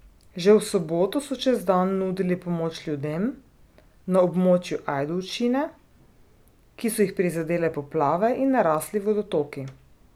Že v soboto so čez dan nudili pomoč ljudem na območju Ajdovščine, ki so jih prizadele poplave in narasli vodotoki.